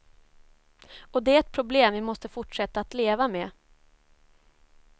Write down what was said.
Och det är ett problem vi måste fortsätta att leva med.